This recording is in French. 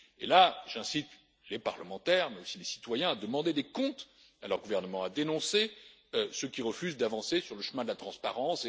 Là, j'incite les parlementaires, mais aussi les citoyens, à demander des comptes à leurs gouvernements, à dénoncer ceux qui refusent d'avancer sur le chemin de la transparence.